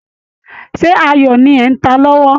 Ṣé ayo ni ẹ̀ ń ta lọ́wọ́?